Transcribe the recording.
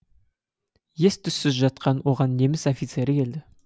ес түссіз жатқан оған неміс офицері келді